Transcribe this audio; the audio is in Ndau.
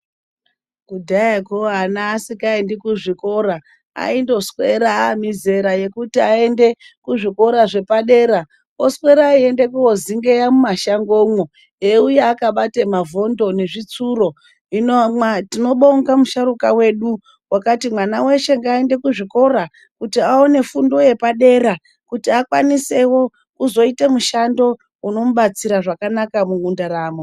Kudhayako ana asingaendi kuzvikora aindoswera mizera yekuti aende kuzvikora zvepadera oswera eienda kozingeya mumashangomwo eiuya akabata mavhondo nezvitsuro hino tinobonga musharuka wedu wakati mwana weshe ngaanedekuzvikora kuti aone fundo yepadera kuti akwanisewo kuzoita mushando unomubatsira zvakanaka mundaramo.